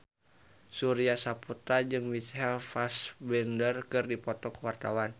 Surya Saputra jeung Michael Fassbender keur dipoto ku wartawan